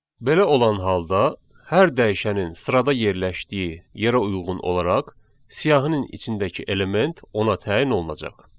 Belə olan halda hər dəyişənin sırada yerləşdiyi yerə uyğun olaraq siyahının içindəki element ona təyin olunacaq.